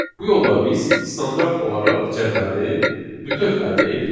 Bu yolla biz standart olaraq cədvəli bütöv əldə edirik.